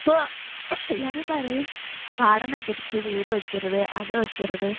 ഇപ്പോ എല്ലാരും പറയും പാടം നികത്തി വീട് വയ്ക്കരുത് അത് വയ്ക്കരുത്